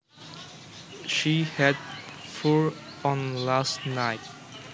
She had fur on last night